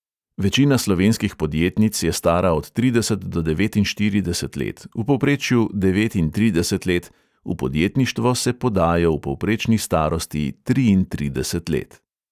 Večina slovenskih podjetnic je stara od trideset do devetinštirideset let, v povprečju devetintrideset let, v podjetništvo se podajo v povprečni starosti triintrideset let.